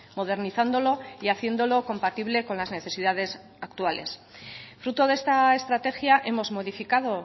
modernizándolo y haciéndolo compatible con las necesidades actuales fruto de esta estrategia hemos modificado